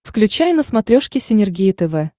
включай на смотрешке синергия тв